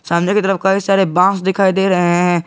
सामने की तरफ कई सारे बास दिख रहे हैं।